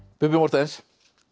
Bubbi Morthens